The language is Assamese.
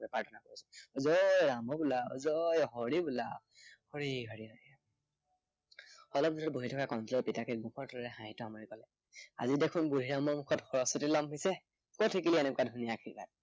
প্ৰাৰ্থনা কৰিছো। জয় ৰাম বোলা, জয় হৰি বোলা। হৰি হৰি হৰি হৰি অলপ পিছতে বুদ্ধিৰামক কণটিলৌৰ পিতাকে মুখত এমোকোৰা হাঁহি লৈ কলে, আজি দেখোন বুদ্ধিৰামৰ মুখত সৰস্বতী লম্ভিছে। কত শিকিলি এনেকুৱা ধুনীয়া আৰ্শীবাদ